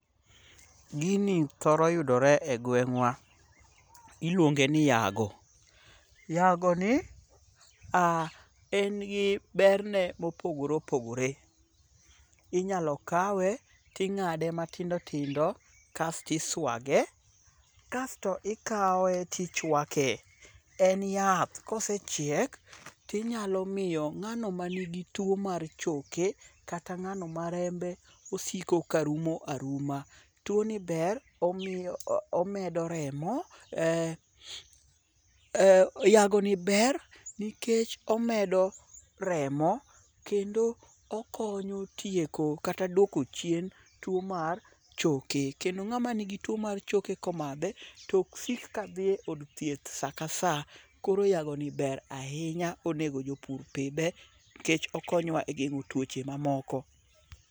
Gini thoro yudore e gweng'wa. Iluonge ni yago. Yago ni, en gi ber ne mopogore opogore. Inyalo kawe ting'ade matindo tindo kasti swage kasto ikawe tichwake. En yath. Kosechiek tinyalo miyo ng'ano manigi tuo mar choke kata ng'ano ma rembe osiko ka rumo aruma. Tuo ni ber omiyo omedo remo. Yago ni ber nikech omedo remo kendo okonyo tieko kata duoko chien tuo mar choke. Kendo ng'ama ni gi tuo mar choke komadhe komadhe, tok sik ka dhi e od thieth saka sa. Koro yago ni ber ahinya. Onego jopur pidhe. Nikech okonyowa e geng'o tuoche mamoko.